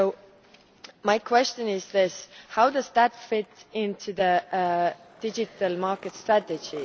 So my question is this how does that fit into the digital market strategy?